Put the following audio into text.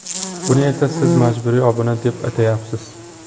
Buni esa siz majburiy obuna deb atayapsiz.